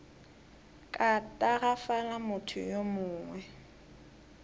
ka tagafala motho yo mongwe